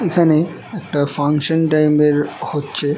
এখানে একটা function time এর হচ্ছে।